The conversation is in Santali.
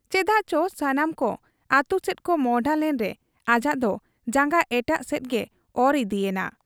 ᱪᱮᱫᱟᱜ ᱪᱚ ᱥᱟᱱᱟᱢ ᱠᱚ ᱟᱹᱛᱩᱥᱮᱫ ᱠᱚ ᱢᱚᱸᱦᱰᱟ ᱞᱮᱱᱨᱮ ᱟᱡᱟᱜ ᱫᱚ ᱡᱟᱝᱜᱟ ᱮᱴᱟᱜ ᱥᱮᱫ ᱜᱮ ᱚᱨ ᱤᱫᱤ ᱮᱱᱟ ᱾